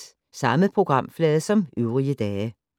Samme programflade som øvrige dage